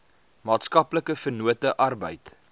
maatskaplike vennote arbeid